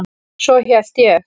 Svo hélt ég.